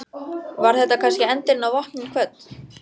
Var þetta kannski endirinn á Vopnin kvödd?